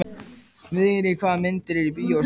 Vigri, hvaða myndir eru í bíó á sunnudaginn?